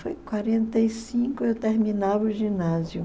Foi em quarenta e cinco eu terminava o ginásio.